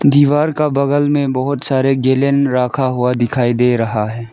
दीवार का बगल में बहोत सारे गैलन रखा हुआ दिखाई दे रहा है।